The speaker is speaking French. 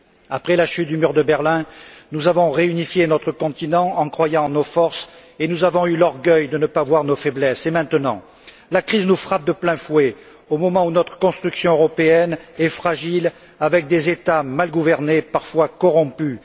Après la chute du mur de Berlin, nous avons réunifié notre continent en croyant en nos forces et nous avons eu l'orgueil de ne pas voir nos faiblesses. Et maintenant? La crise nous frappe de plein fouet au moment où notre construction européenne est fragile, avec des États mal gouvernés, parfois corrompus.